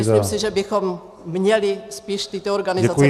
Myslím si, že bychom měli spíš tyto organizace podpořit.